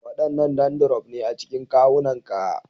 Wadannan dandrof ne a cikin kawunanka